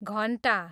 घन्टा